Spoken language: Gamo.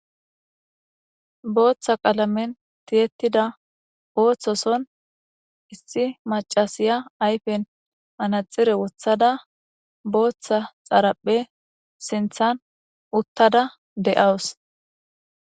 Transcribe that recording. booththa qalamen tiyettida ooththoson issi macasiya ayfen manaxire wothada booththa xaraphe sinthan uttada de7awus